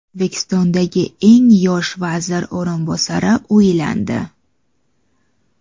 O‘zbekistondagi eng yosh vazir o‘rinbosari uylandi.